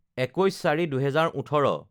২১/০৪/২০১৮